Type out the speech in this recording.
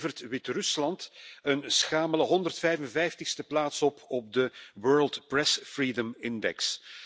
Het levert Wit Rusland een schamele 155e plaats op op de World Press Freedom Index.